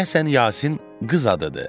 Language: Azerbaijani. Deyəsən Yasin qız adıdır.